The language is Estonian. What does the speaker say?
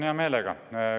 Vastan hea meelega.